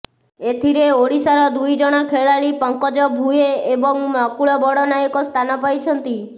ଏଥିରେ ଓଡ଼ିଶାର ଦୁଇ ଜଣ ଖେଳାଳି ପଙ୍କଜ ଭୂଏ ଏବଂ ନକୁଳ ବଡ଼ନାୟକ ସ୍ଥାନ ପାଇଛନ୍ତି